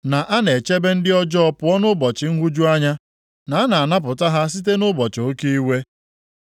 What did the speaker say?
na a na-echebe ndị ọjọọ pụọ nʼụbọchị nhụju anya, na a na-anapụta ha site nʼụbọchị oke iwe?